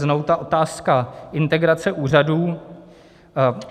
znovu ta otázka integrace úřadů.